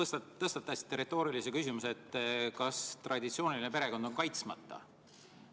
Te tõstatasite retoorilise küsimuse, kas traditsiooniline perekond on kaitsmata.